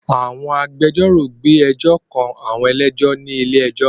Àwọn agbẹjọ́rò gbé ẹjọ́ kan àwọn ẹlẹ́jọ́ ní ilé ẹjọ́